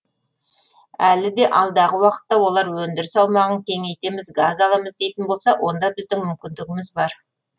әлі де алдағы уақытта олар өндіріс аумағын кеңейтеміз газ аламыз дейтін болса оған біздің мүмкіндігіміз бар